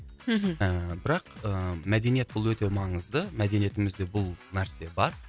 мхм ііі бірақ ііі мәдениет бұл өте маңызды мәдениетімізде бұл нәрсе бар